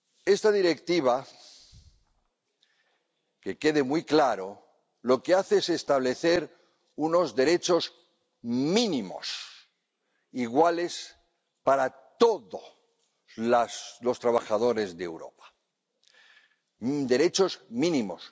Esta Directiva —que quede muy claro— lo que hace es establecer unos derechos mínimos iguales para todos los trabajadores de Europa derechos mínimos.